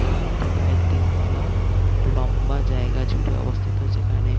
এবং এটি প্রায় তিন তলা লম্বা জায়গা জুড়ে অবস্থিত। যেখানে--